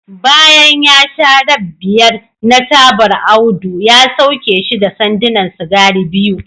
bayan ya sha rab biyar na tabar Audu ya sauke shi da sandunan sigari biyu